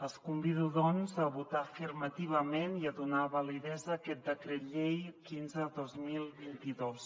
els convido doncs a votar afirmativament i a donar validesa a aquest decret llei quinze dos mil vint dos